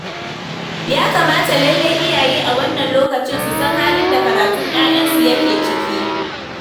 Ya kamata lallai iyaye a wannan lokacin su san halin da karatun 'ya'yansu yake ciki.